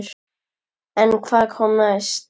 En hvað kom næst?